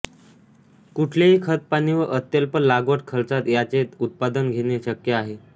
कुठलेही खत पाणी व अत्यल्प लागवड खर्चात याचे उत्पादन घेणे शक्य आहे